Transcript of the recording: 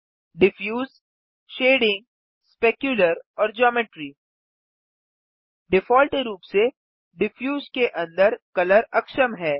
diffuse shading specular और geometry default रूप से डिफ्यूज के अंदर कलर अक्षम है